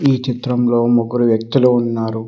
ఈ చిత్రంలో ముగ్గురు వ్యక్తులు ఉన్నారు.